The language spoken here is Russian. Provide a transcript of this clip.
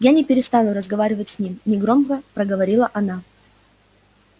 я не перестану разговаривать с ним негромко проговорила она